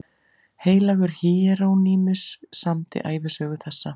Heilagur Híerónýmus samdi ævisögu þessa